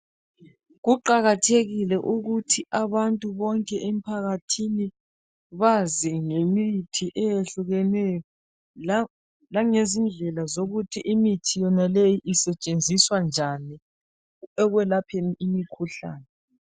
Kuqakathekile ukuthi abantu bonke emphakathini bazi ngemithi eyehlukeneyo langezindlela zokuthi imithi yonaleyi isetshenziswa njani ekwelapheni imikhuhlane.